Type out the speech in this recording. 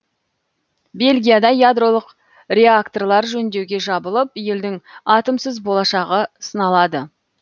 бельгияда ядролық реакторлар жөндеуге жабылып елдің атомсыз болашағы сыналады